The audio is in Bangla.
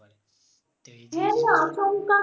হ্যাঁ আচমকা